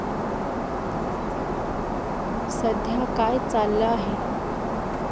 सध्या काय चाललं आहे?